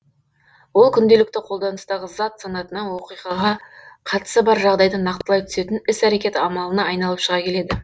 ол күнделікті қолданыстағы зат санатынан оқиғаға қатысы бар жағдайды нақтылай түсетін іс әрекет амалына айналып шыға келеді